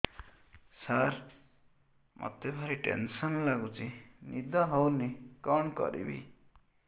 ସାର ମତେ ଭାରି ଟେନ୍ସନ୍ ଲାଗୁଚି ନିଦ ହଉନି କଣ କରିବି